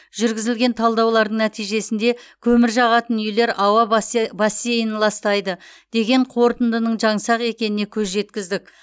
жүргізілген талдаулардың нәтижесінде көмір жағатын үйлер ауа баса бассейнін ластайды деген қорытындының жаңсақ екеніне көз жеткіздік